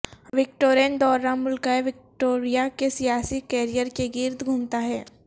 Victorian دورہ ملکہ Victoria کے سیاسی کیریئر کے گرد گھومتا ہے